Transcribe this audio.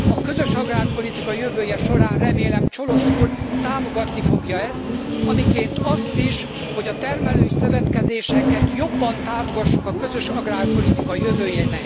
A közös agrárpolitika jövője során, remélem, Cioloş úr támogatni fogja ezt, amiként azt is, hogy a termelői szövetkezéseket jobban támogassuk a közös agrárpolitika jövőjénél.